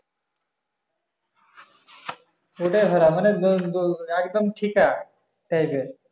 ওটাই ভাড়া মানে একদম ঠিকা এর